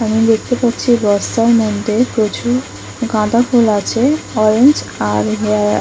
আমি দেখতে পাচ্ছি বস্তার মধ্যে প্রচুর গাঁদা ফুল আছে অরেন্জ আর-- ।